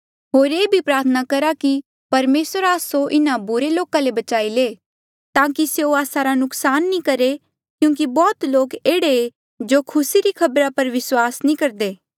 होर ये भी प्रार्थना करहा कि परमेसर आस्सो इन्हा बुरे लोका ले बचाई ले ताकि स्यों आस्सा रा नुकसान नी करहे क्यूंकि बौह्त लोक एह्ड़े जो खुसी री खबरा पर विस्वास नी करदे